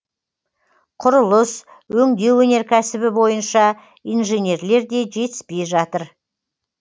құрылыс өңдеу өнеркәсібі бойынша инженерлер де жетіспей жатыр